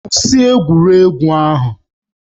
Kwụsị egwuregwu ahụ!